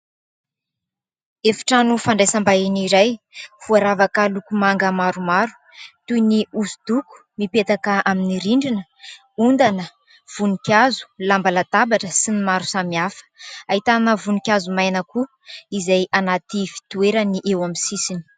Efitrano fandraisam-bahiny iray voaravaka loko manga maromaro toy ny hosodoko mipetaka amin'ny rindrina, ondana, voninkazo, lamba latabatra sy ny maro samy hafa, ahitana voninkazo maina koa izay anaty fitoerany eo amin'ny sisiny.